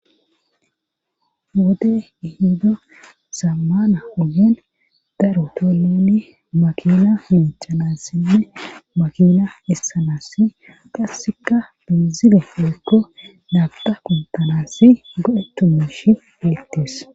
wode ihido zammana ogin daru tooloni makina miichanassine magina essanas qasseka binzibe leekko nabta kuntanas go7e tu mishi ilitties